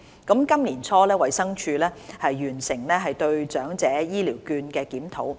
今年年初，衞生署完成對長者醫療券計劃的檢討。